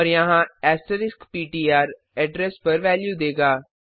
और यहाँ asterisk pointer address पर वेल्यू देगा